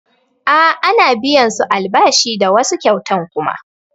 A ana biyan su albashi da wasu kyautan kuma